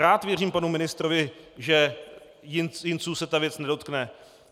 Rád věřím panu ministrovi, že Jinců se ta věc nedotkne.